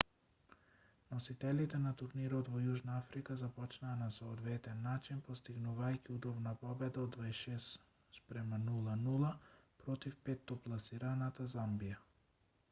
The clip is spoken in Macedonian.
носителите на турнирот во јужна африка започнаа на соодветен начин постигнувајќи удобна победа од 26 - 00 против петтопласираната замбија